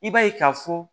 I b'a ye ka fɔ